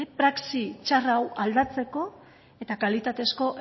praxi txar hau aldatzeko eta kalitatezko